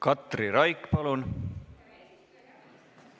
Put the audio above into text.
Katri Raik, palun!